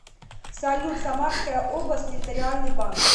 салют самарская область территориальный банк